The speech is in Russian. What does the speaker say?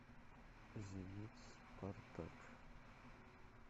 зенит спартак